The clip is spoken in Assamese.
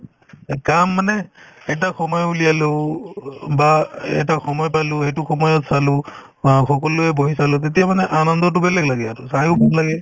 এ কাম মানে এটা সময় উলিয়াই লওঁ অ বা এটা সময় পালো সেইটো সময়ত চালো অ সকলোৱে বহি চালো তেতিয়া মানে আনন্দতো বেলেগ লাগে আৰু চায়ো লাগে